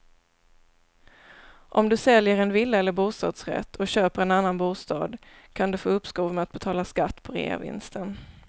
Om du säljer en villa eller bostadsrätt och köper en annan bostad kan du få uppskov med att betala skatt på reavinsten.